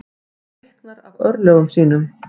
Hreyknar af örlögum sínum.